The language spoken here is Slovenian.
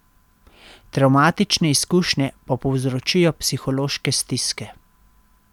Travmatične izkušnje pa povzročajo psihološke stiske.